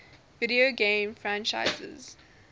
video game franchises